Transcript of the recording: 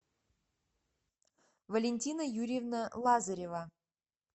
валентина юрьевна лазарева